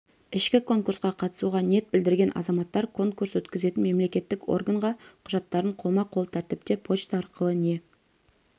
ішкі конкурсқа қатысуға ниет білдірген азаматтар конкурс өткізетін мемлекеттік органға құжаттарын қолма-қол тәртіпте почта арқылы не